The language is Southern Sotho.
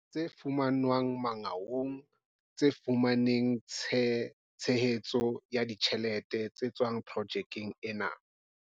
Tse fumanwang Mangaung tse fumaneng tshe hetso ya ditjhelete tse tswang projekeng ena.